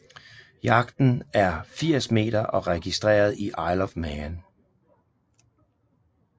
Yachten er 80 meter og registreret i Isle of Man